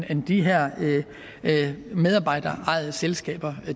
end de her medarbejderejede selskaber